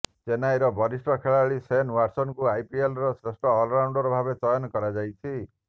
ଚେନ୍ନାଇର ବରିଷ୍ଠ ଖେଳାଳି ଶେନ ୱାଟସନଙ୍କୁ ଆଇପିଏଲର ଶ୍ରେଷ୍ଠ ଅଲରାଉଣ୍ଡ ଭାବେ ଚୟନ କରାଯାଇଛି